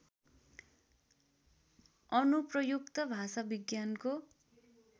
अनुप्रयुक्त भाषाविज्ञानको